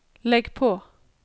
legg på